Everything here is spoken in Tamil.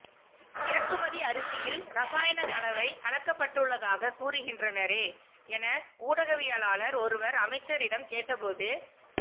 இறக்குமதி அரிசியில் இரசாயனக்கலவை கலக்கப்பட்டுள்ளதாக கூறுகின்றனரே என ஊடகவியலாளர் ஒருவர் அமைச்சரிடம் கேட்ட போது